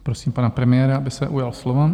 Prosím pana premiéra, aby se ujal slova.